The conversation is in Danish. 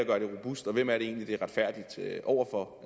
gør det robust og hvem er det egentlig det er retfærdigt over for